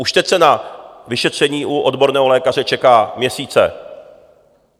Už teď se na vyšetření u odborného lékaře čeká měsíce.